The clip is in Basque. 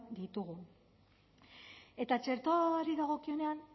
ditugun eta txertoari dagokionean